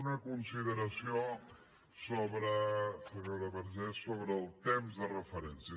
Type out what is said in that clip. una consideració sobre senyora vergés el temps de referència